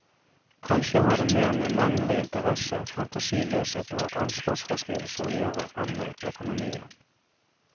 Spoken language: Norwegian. Kanskje har det mer med manglende interesse, fantasiløshet og ansvarsfraskrivelse å gjøre enn med økonomien.